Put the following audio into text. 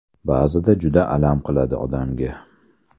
Ba’zida juda alam qiladi odamga.